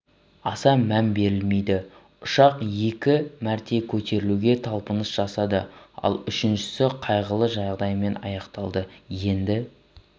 аса мән берілмейді ұшақ екі мәрте көтерілуге талпыныс жасады ал үшіншісі қайғылы жағдаймен аяқталады енді